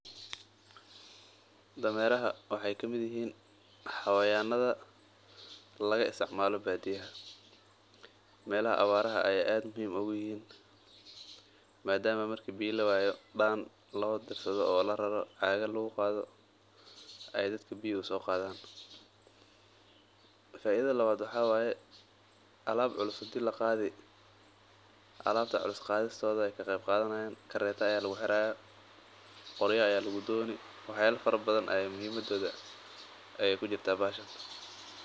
Dameraha waxeey kamid yihiin xawayanaha laga isticmaalo badiyaha, meelaha abaraha ayeey kufican yihiin madama biyaha lagu soo qaato, kareeta ayaa lagu xiri, qorya ayaa lagu dooni, wax yaaba badan ayeey faidadooda kujirta bahalahan.